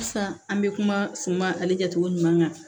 Sisan an bɛ kuma suma ale kɛcogo ɲuman kan